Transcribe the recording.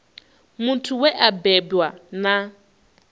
muthu we a bebwa na